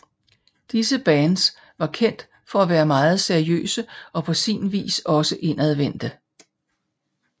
Disse bands var kendt for at være meget seriøse og på sin vis også indadvendte